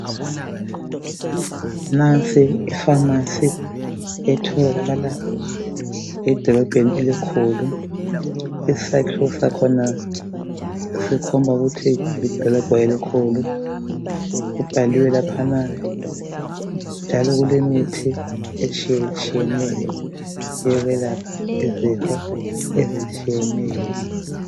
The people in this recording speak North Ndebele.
Nansi ipharmacy etholakala edolobheni elikhulu , isakhiwo sakhona sikhomba ukuthi lidolobho elikhulu , kubhaliwe laphana njalo kulemithi etshiyetshiyeneyo oyokwelapha izifo ezitshiyeneyo